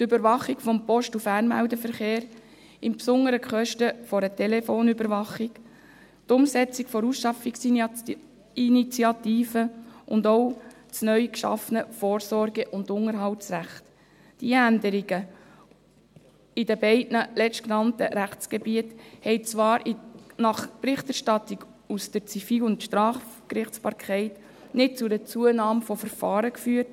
Die Überwachung des Post- und Fernmeldeverkehrs, im Besonderen die Kosten einer Telefonüberwachung, die Umsetzung der Ausschaffungsinitiative und auch das neu geschaffene Vorsorge- und Unterhaltsrecht, die Änderungen in den beiden letztgenannten Rechtsgebieten haben zwar gemäss Berichterstattung aus der Zivil- und Strafgerichtsbarkeit nicht zu einer Zunahme von Verfahren geführt;